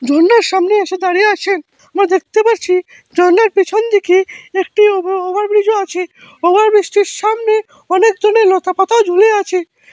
ঝর্নার সামনে এসে দাঁড়িয়ে আছে আমরা দেখতে পারছি ঝর্নার পিছন দিকে একটি ওভার ওভারব্রিজও আছে ওভারব্রিজটির সামনে অনেক ধরণের লতাপাতাও ঝুলে আছে।